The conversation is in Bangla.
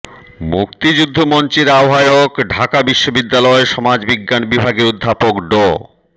মুক্তিযুদ্ধ মঞ্চের আহ্বায়ক ঢাকা বিশ্ববিদ্যালয় সমাজবিজ্ঞান বিভাগের অধ্যাপক ড